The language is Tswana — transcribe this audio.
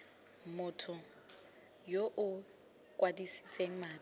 motho yo o ikwadisitseng madi